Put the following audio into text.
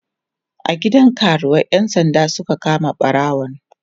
a gidan karuwai ƴan sanda Suka kama ɓarawon